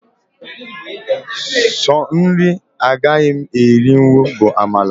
Sọ nri agaghị m erinwu bụ amala